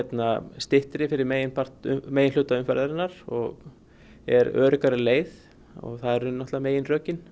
styttri fyrir meginhluta meginhluta umferðarinnar og er öruggari leið það eru náttúrulega meginrökin